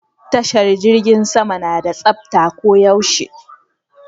Tashar jirgin sama na da tsafta ko yaushe